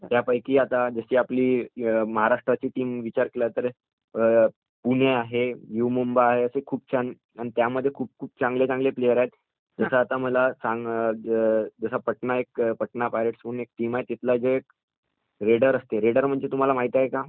त्यापैकी जसं आता आपली महाराष्ट्राची टीम विचार केला तर, पुणे आहे यु मुंबा असे खूप छान आणि त्यामध्ये खूप खूप चांगले चांगले प्लेयर आहेत. जसं मला सांग पटना पायरेट म्हणून एक टीम आहे, तिथंला जो रेडर आहे, रेडर म्हणजे काय हे तुम्हाला माहित आहे का?